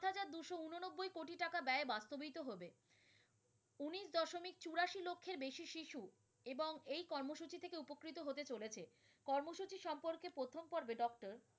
বেশি শিশু এবং এই কর্মসূচি থেকে উপকৃত হতে চলেছে। কর্মসূচি সম্পর্কে প্রথম পরবে doctor